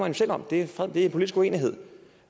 jo selv om det er en politisk uenighed